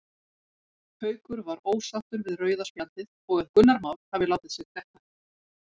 Haukur var ósáttur við rauða spjaldið og að Gunnar Már hafi látið sig detta.